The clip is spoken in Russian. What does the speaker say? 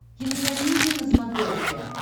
кинокомедия на смотрешке